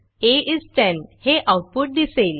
आ इस 10 हे आऊटपुट दिसेल